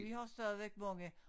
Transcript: Vi har stadigvæk mange